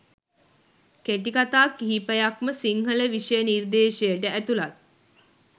කෙටිකතා කිහිපයක්ම සිංහල විෂය නිර්දේශයට ඇතුලත්.